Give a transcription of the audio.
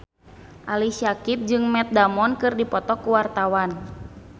Ali Syakieb jeung Matt Damon keur dipoto ku wartawan